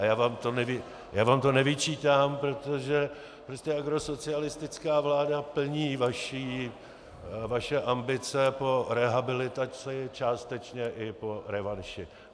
A já vám to nevyčítám, protože prostě agrosocialistická vláda plní vaše ambice po rehabilitaci, částečně i po revanši.